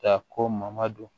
Ka ko ma don